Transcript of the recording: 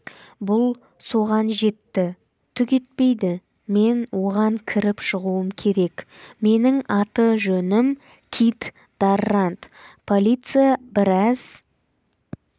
бұл соған жетті түк етпейді мен оған кіріп шығуым керек менің аты-жөнім кит даррант полиция біраз